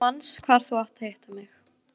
Þú manst hvar þú átt að hitta mig.